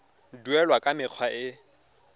duelwa ka mekgwa e e